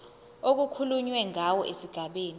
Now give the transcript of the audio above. okukhulunywe ngawo esigabeni